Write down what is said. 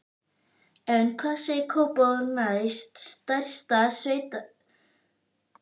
En hvað segir Kópavogur, næst stærsta sveitarfélag landsins?